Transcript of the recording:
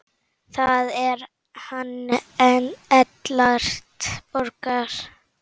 Það er hann Ellert Borgar.